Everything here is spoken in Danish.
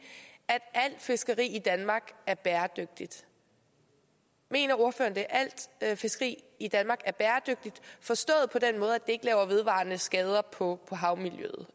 at alt fiskeri i danmark er bæredygtigt mener ordføreren at alt fiskeri i danmark er bæredygtigt forstået på den måde at ikke laver vedvarende skader på